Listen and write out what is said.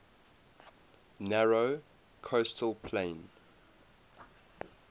narrow coastal plain